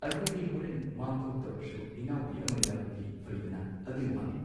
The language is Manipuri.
ꯑꯩꯈꯣꯏꯗꯤ ꯍꯣꯔꯦꯟ ꯃꯥꯡ ꯈꯣꯠ ꯇꯧꯔꯁꯨ ꯏꯅꯥꯎꯄꯤ ꯑꯃ ꯌꯥꯎꯔꯗꯤ ꯐꯩꯗꯅ ꯑꯗꯨꯏ ꯋꯥꯅꯦ